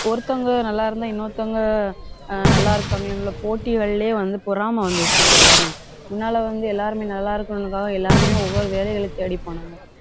ஒருத்தவங்க நல்லா இருந்தா, இன்னொருத்தங்க அஹ் நல்லா போட்டிகள்லயே வந்து பொறாமை வந்துருச்சு இப்ப எல்லாமே. முன்னால வந்து, எல்லாருமே நல்லா இருக்கணும்ங்கறதுக்காக எல்லாருமே ஒவ்வொரு வேலைகளைத் தேடிப் போனாங்க.